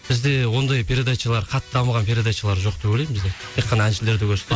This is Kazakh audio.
бізде ондай передачалар қатты дамыған передачалар жоқ деп ойлаймын бізде тек қана әншілерді көрсетеді